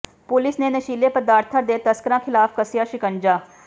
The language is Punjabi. ਪੁਲਿਸ ਨੇ ਨਸ਼ੀਲੇ ਪਦਾਰਥਾਂ ਦੇ ਤਸਕਰਾਂ ਖਿਲਾਫ਼ ਕੱਸਿਆ ਸ਼ਿਕੰਜਾ